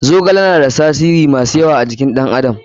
Zogale na da tasirori masu yawa a jikin ɗan adam.